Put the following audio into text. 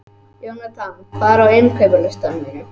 Jónatan, hvað er á innkaupalistanum mínum?